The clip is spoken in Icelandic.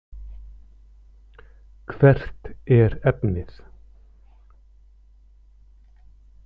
Hvert er efnið?